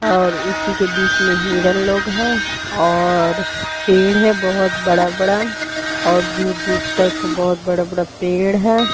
और उसी के बीच में ही हिरन लोग है और पेड़ हैं बहोत बड़ा-बड़ा और दूर दूर तक बहोत बड़ा-बड़ा पेड़ हैं।